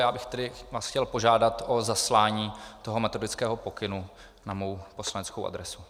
Já bych tedy vás chtěl požádat o zaslání toho metodického pokynu na moji poslaneckou adresu.